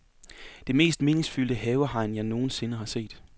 Det mest meningsfyldte havehegn, jeg nogen sinde har set.